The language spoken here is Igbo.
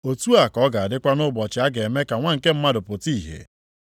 “Otu a ka ọ ga-adịkwa nʼụbọchị a ga-eme ka Nwa nke Mmadụ pụta ìhè.